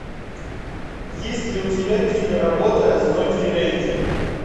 есть ли у тебя киноработа одинокий рейнджер